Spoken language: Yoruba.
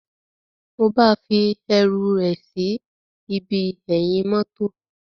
Mo ba fi eru é sí ibi eyin motor.